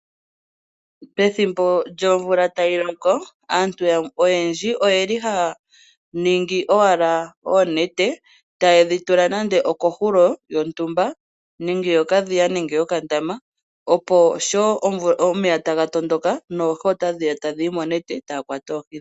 Pethimbo lyomvula tayi loko aantu oyendji oyeli haya ningi wala oonete tayedhi tula nando oko hulo yontumba, yokadhiya nenge yokandama opo sho omeya taga tondoka noohi ota dhiya tadhi yi monete, eta ya kwata oohi dhawo.